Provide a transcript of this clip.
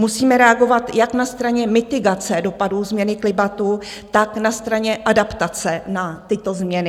Musíme reagovat jak na straně mitigace dopadů změny klimatu, tak na straně adaptace na tyto změny.